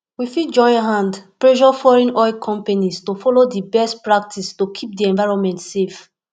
we fit join hand pressure foreign oil companies to follow di best practice to keep di environment safe